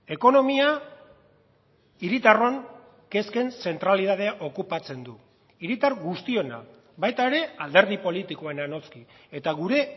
ekonomia hiritarron kezken zentralitatea okupatzen du hiritar guztiona baita ere alderdi politikoena noski eta gure